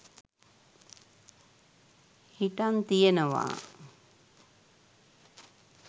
හිටං තියෙනවා